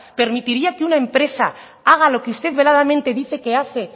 permitiría que una empresa haga lo que usted veladamente dice que hace